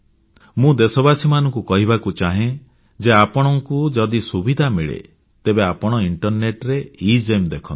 ମୁଁ ଦେଶବାସୀମାନଙ୍କୁ କହିବାକୁ ଚାହେଁ ଯେ ଆପଣଙ୍କୁ ଯଦି ସୁବିଧା ମିଳେ ତେବେ ଆପଣ ଇଣ୍ଟରନେଟ ରେ ଏଗେମ୍ ଦେଖନ୍ତୁ